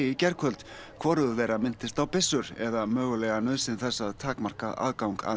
í gærkvöld hvorugur þeirra minntist á byssur eða mögulega nauðsyn þess að takmarka aðgang að